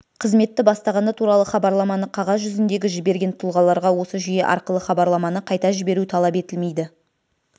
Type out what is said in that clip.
қызметті бастағаны туралы хабарламаны қағаз жүзіндегі жіберген тұлғаларға осы жүйе арқылы хабарламаны қайта жіберу талап етілмейді